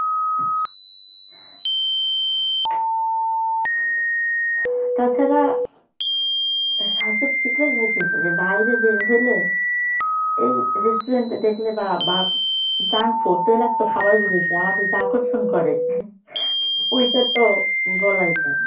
তাছাড়া স্বাস্থ্য ঠিক রাখবো কি করে বাইরে বের হইলে এই restaurant দেখলে বা junk food তৈলাক্ত খাবারগুলো যে আমাদের যে আকৰ্ষণ করে ঐটাতো বলাই যায় না